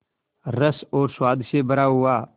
रस और स्वाद से भरा हुआ